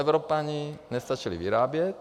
Evropané nestačili vyrábět.